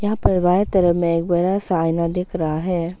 यहां पर बाएं तरफ में एक बड़ा सा आइना दिख रहा है।